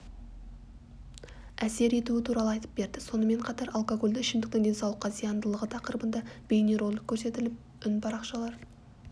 әсер етуі туралы айтып берді сонымен қатар алкогольді ішімдіктің денсаулыққа зияндылығы тақырыбында бейнеролик көрсетіліп үнпарақшалар